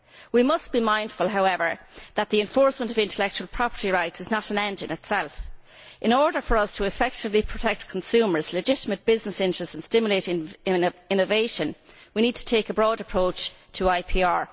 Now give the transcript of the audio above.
We must be mindful however that the enforcement of intellectual property rights is not an end in itself. In order for us to effectively protect consumers' legitimate business interests and stimulate innovation, we need to take a broad approach to IPR.